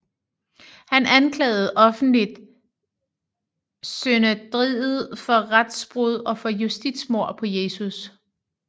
Han anklagede offentligt Synedriet for retsbrud og for justitsmord på Jesus